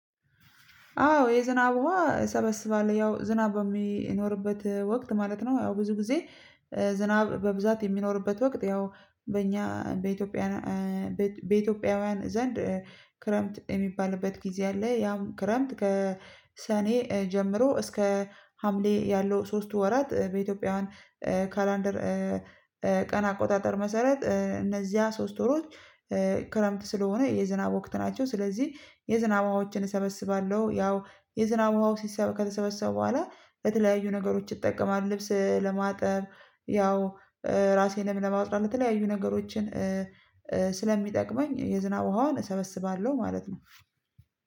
አዎ የዝናብ ዉሃ እሰበስባለሁ ያው ዝናብ በሚኖርበት ወቅት ማለት ነው። ያው ብዙ ጊዜ ዝናብ በብዛት የሚኖርበት ወቅት ያው በእኛ በኢትዮጵያ በኢትዮጵያውያን ዘንድ ክረምት የሚባልበት ጊዜ አለ። ያም ክረምት ከሰኔ ጀምሮ እስከ ሀምሌ ያለው ሶስቱ ወራት በኢትዮጵያውያን ካላንደር ቀን አቆጣጠር መሰረት እነዚያ ሶስት ወሮች ክረምት ስለሆነ የዝናብ ወቅት ናቸው። ስለዚህ የዝናብ ውሃዎችን እሰበስባለሁ ያው የዝናብ ውሃው ከተሰበሰቡ በኋላ በተለያዩ ነገሮች እጠቀማለሁ ልብስ ለማጠብ ያው ራሴን ለማጥራት ለተለያዩ ነገሮችን ስለሚጠቅመኝ የዝናብ ውሃዋን እሰበስባለሁ። ማለት ነው።